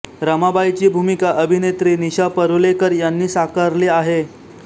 रमाबाईची भूमिका अभिनेत्री निशा परुलेकर यांनी साकारली आहे